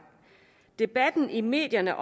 debatten i medierne